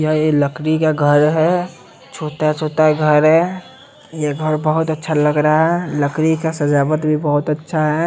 ये लकड़ी का घर है छोटा छोटा घर है ये घर बहोत अच्छा लग रहा है लकड़ी का सजावट भी बहोत अच्छा है।